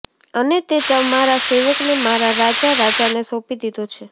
અને તે તમાંરા સેવકને મારા રાજા રાજાને સોંપી દીધો છે